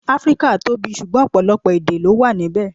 Áfríkà tóbi, sugbọn ọ̀pọ̀lọpọ̀ èdè lọ wà níbè.